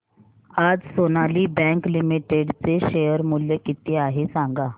आज Sonali bank limited चे share मूल्य किती आहे सांगा